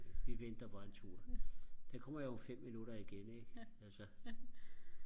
vi venter bare en tur den kommer jo om fem minutter igen ikke altså